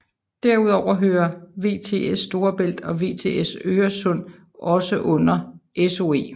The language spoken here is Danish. Derudover hører VTS Storebælt og VTS Øresund også under SOE